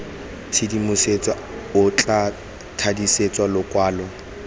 tshedimosetso o tla thadisa lokwalo